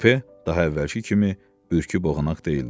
Kupə daha əvvəlki kimi ürküb oyanacaq deyildi.